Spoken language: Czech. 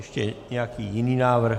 Ještě nějaký jiný návrh?